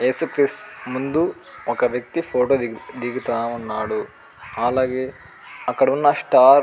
యేసు క్రిస్తు ముందు ఒక వేక్తి ఫోటో దిగుతున్నాడు అలాగే అక్కడున్న స్టార్ --